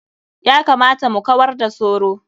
Ya kamata mu kawar da soro.